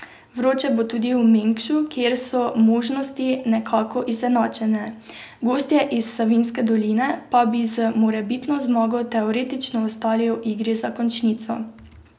Vroče bo tudi v Mengšu, kjer so možnosti nekako izenačene, gostje iz Savinjske doline pa bi z morebitno zmago teoretično ostali v igri za končnico.